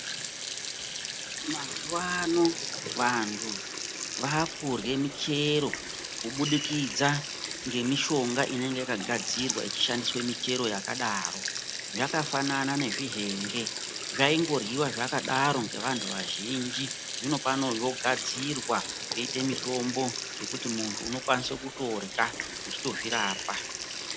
Mazuvano vantu vakurha muchero kuburikidza ngemishonga inenge yakagadzirwa ichishandise michero yakadaro, yakafanana nezvihenge zvaingorhiwa zvakadaro ngevantu vazhinji. Zvino pano zvogadzirwa zvoitwe mitombo zvekuti muntu unokwanise kutodya uchitozvirapa.